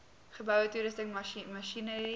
geboue toerusting masjinerie